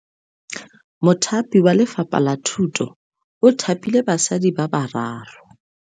Mothapi wa Lefapha la Thuto o thapile basadi ba ba raro.